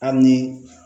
Hali ni